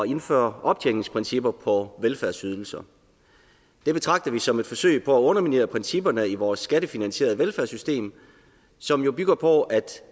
indføre optjeningsprincipper på velfærdsydelser det betragter vi som et forsøg på at underminere principperne i vores skattefinansierede velfærdssystem som jo bygger på at